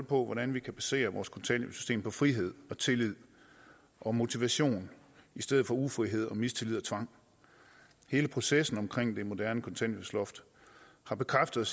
på hvordan vi kan basere vores kontanthjælpssystem på frihed og tillid og motivation i stedet for ufrihed og mistillid og tvang hele processen omkring det moderne kontanthjælpsloft har bekræftet